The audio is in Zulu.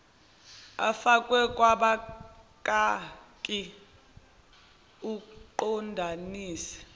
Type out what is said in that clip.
afakwe kobakaki uqondanise